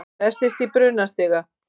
Festist í brunastiga